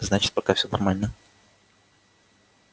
значит пока всё нормально